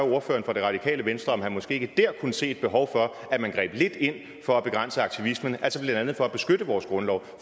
ordføreren for det radikale venstre om han måske ikke der kunne se et behov for at man greb lidt ind for at begrænse aktivismen altså blandt andet for at beskytte vores grundlov